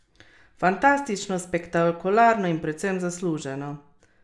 Fantastično, spektakularno in predvsem zasluženo!